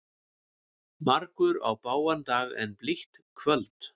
Margur á bágan dag en blítt kvöld.